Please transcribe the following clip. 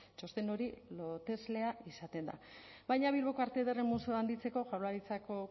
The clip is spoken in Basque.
txosten hori loteslea izaten da baina bilboko arte ederren museoa handitzeko jaurlaritzako